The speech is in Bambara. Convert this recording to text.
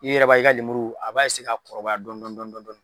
I yɛrɛ b'a ye, i ka lemuru a b'a ka kɔrɔba dɔɔni dɔɔni dɔɔni.